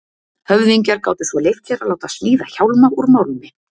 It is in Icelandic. Höfðingjar gátu svo leyft sér að láta smíða hjálma úr málmi.